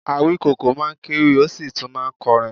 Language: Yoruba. Awíkoko máa ń kewì, ó sì tún máa ń kọrin